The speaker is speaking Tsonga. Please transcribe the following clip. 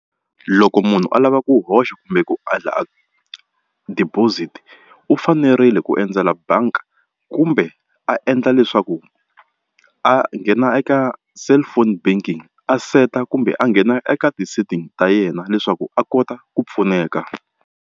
Loko munhu a lava ku hoxa kumbe ku deposit u fanerile ku endzela bangi kumbe a endla leswaku a nghena eka cellphone banking a seta kumbe a nghena eka ti-settings ta yena leswaku a kota ku pfuneka.